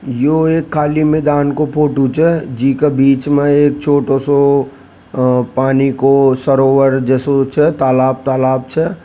यो एक काली मैदान को फोटो च जी का बीच में एक छोटा सा पानी को सरोवर जेसो च तालाब तालाब छ।